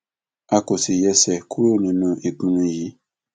a kò sì yẹsẹ kúrò nínú ìpinnu yìí